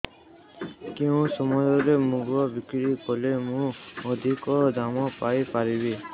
କେଉଁ ସମୟରେ ମୁଗ ବିକ୍ରି କଲେ ମୁଁ ଅଧିକ ଦାମ୍ ପାଇ ପାରିବି